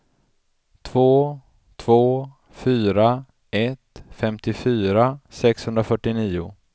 två två fyra ett femtiofyra sexhundrafyrtionio